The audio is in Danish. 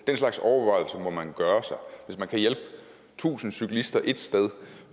den slags overvejelser må man gøre sig hvis man kan hjælpe tusind cyklister et sted